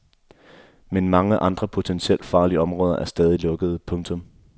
Men mange andre potentielt farlige områder er stadig lukkede. punktum